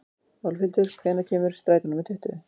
Álfhildur, hvenær kemur strætó númer tuttugu?